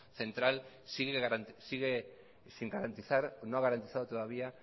central sigue sin garantizar no ha garantizado todavía